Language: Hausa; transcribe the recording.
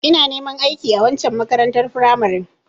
Ina neman aiki a waccen makarantar firamaren